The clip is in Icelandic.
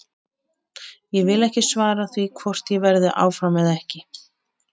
Ég vil ekki svara því hvort ég verði áfram eða ekki.